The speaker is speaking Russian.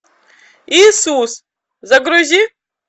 иисус загрузи